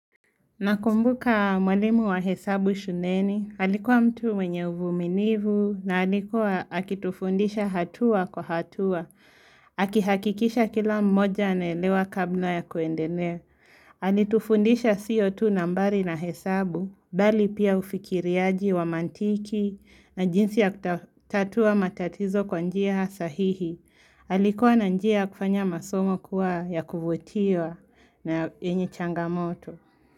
Nakumbuka mwalimu wa hesabu shuleni. Alikuwa mtu mwenye uvumilivu na alikuwa akitufundisha hatua kwa hatua. Akihakikisha kila mmoja anaelewa kabla ya kuendelea. Alitufundisha sio tu nambari na hesabu, bali pia ufikiriaji wa mantiki na jinsi ya kutatua matatizo kwa njia sahihi. Alikuwa na njia ya kufanya masomo kuwa ya kuvutiwa na yenye changamoto.